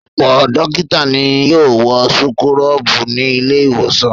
Ọ̀pọ̀ dókítà ni yóò wọ súkúrọ́bù ní ilé-ìwòsàn.